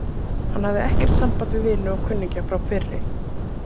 Hann hafði ekkert samband við vini og kunningja frá fyrri